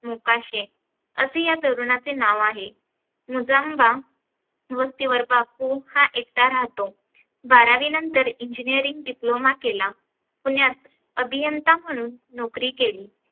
मोकाशे असे या तरुणाचे नाव आहे. मुझंबा स्तीवर्गातून हा एकटा राहतो बारावी नंतर ENGINEERING DIPLOMA केला पुण्यात अभियंता म्हणून नोकरी केली.